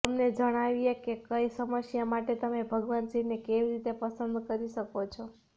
તમને જણાવીએ કે કઈ સમસ્યા માટે તમે ભગવાન શિવને કેવી રીતે પ્રસન્ન કરી શકો છો